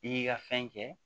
I y'i ka fɛn kɛ